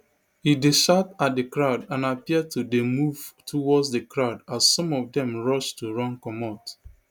e dey shout at di crowd and appear to dey move towards di crowd as some of dem rush to run comot